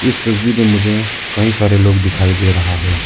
इस तस्वीर में मुझे कई सारे लोग दिखाई दे रहा है।